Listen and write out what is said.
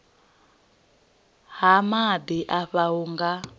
ha maḓi afha hu nga